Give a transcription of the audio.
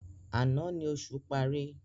Àná ni oṣù parí.